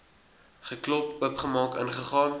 geklop oopgemaak ingegaan